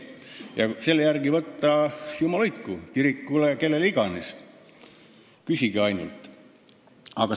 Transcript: Ja kui selle järgi võtta, siis jumal hoidku – kirikule või kellele iganes, küsige ainult!